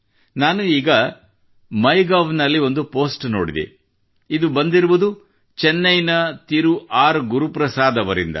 ನಾನು ಈಗ MyGovನಲ್ಲಿ ಒಂದು ಪೋಸ್ಟ್ ನೋಡಿದೆ ಇದು ಬಂದಿರುವುದು ಚೆನ್ನೈನ ತಿರು ಆರ್ ಗುರುಪ್ರಸಾದ್ ಅವರಿಂದ